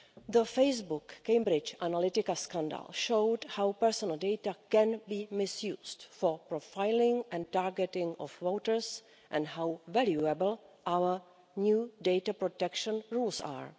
The Facebook Cambridge Analytica scandal showed how personal data can be misused for the profiling and targeting of voters, and how valuable our new data protection rules are.